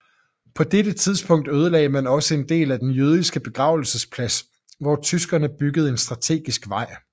På dette tidspunkt ødelagde man også en del af den jødiske begravelsesplads hvor tyskerne byggede en strategisk vej